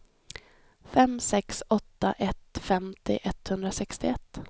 fem sex åtta ett femtio etthundrasextioett